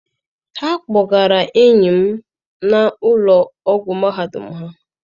Ha gbọgara enyi m n'ụlọ ọgwụ mahadum ha.